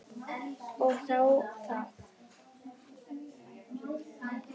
Og þá það.